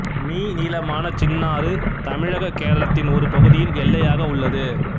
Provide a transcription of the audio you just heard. me நீளமான சின்னாறு தமிழககேரளத்தின் ஒரு பகுதியில் எல்லையாக உள்ளது